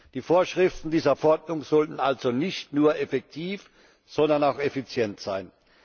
Die Vorschriften dieser Verordnung sollten also nicht nur effektiv, sondern auch effizient sein.